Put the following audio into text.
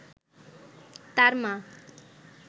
তার মা